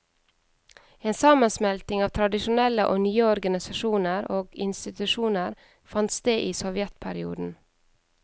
En sammensmelting av tradisjonelle og nye organisasjoner og institusjoner fant sted i sovjetperioden.